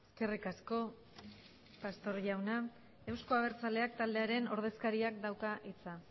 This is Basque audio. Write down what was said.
eskerrik asko pastor jauna euzko abertzaleak taldearen ordezkariak dauka hitza